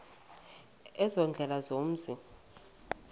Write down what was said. ezo ziindlela zomzi